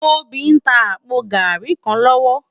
Tobi n tá àpó gàrí kán lòwò